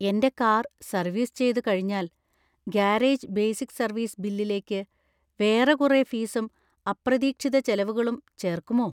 എന്‍റെ car service ചെയ്തുകഴിഞ്ഞാൽ garage basic service ബില്ലിലേക്ക് വേറെ കുറെ ഫീസും അപ്രതീക്ഷിത ചെലവുകളും ചേർക്കുമോ?